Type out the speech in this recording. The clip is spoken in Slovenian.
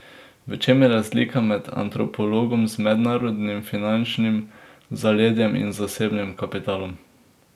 V čem je razlika med antropologom z mednarodnim finančnim zaledjem in zasebnim kapitalom?